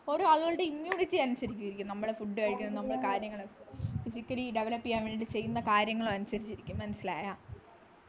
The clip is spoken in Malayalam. ഓരോ ആളുകളുടെയും immunity അനുസരിച്ചിരിക്കും നമ്മള് food കഴിക്കുന്നത് നമ്മള് കാര്യങ്ങള് physically develop ചെയ്യാൻ വേണ്ടി ചെയ്യുന്ന കാര്യങ്ങളും അനുസരിചിരിക്കും മനസ്സിലായോ